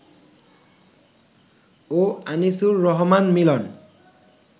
ও Anisur Rahman মিলন